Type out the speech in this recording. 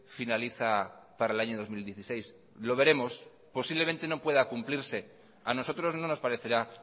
finaliza para el año dos mil dieciséis lo veremos posiblemente no pueda cumplirse a nosotros no nos parecerá